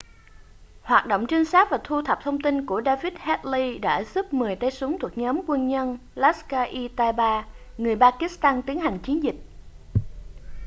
hoạt động trinh sát và thu thập thông tin của david headley đã giúp 10 tay súng thuộc nhóm dân quân laskhar-e-taiba người pakistan tiến hành chiến dịch